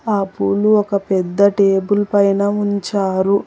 ఆ పూలు ఒక పెద్ద టేబుల్ పైన ఉంచారు.